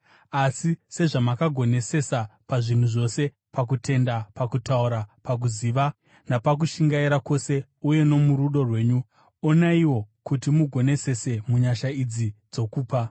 Asi sezvamakagonesesa pazvinhu zvose, pakutenda, pakutaura, pakuziva, napakushingaira kwose uye nomurudo rwenyu, onaiwo kuti mugonesese munyasha idzi dzokupa.